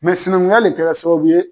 sinankunya de kɛra sababu ye